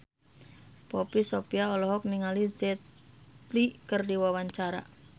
Poppy Sovia olohok ningali Jet Li keur diwawancara